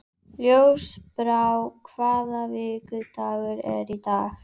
Ljósbrá, hvaða vikudagur er í dag?